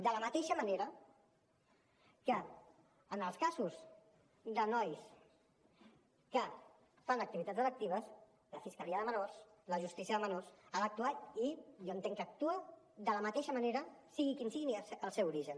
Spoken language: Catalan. de la mateixa manera que en els casos de nois que fan activitats delictives la fiscalia de menors la justícia de menors ha d’actuar i jo entenc que actua de la mateixa manera sigui quin sigui el seu origen